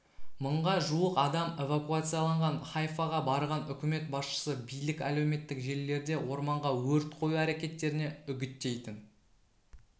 мыңға жуық адам эвакуацияланған хайфаға барған үкімет басшысы билік әлеуметтік желілерде орманға өрт қою әрекеттеріне үгіттейтін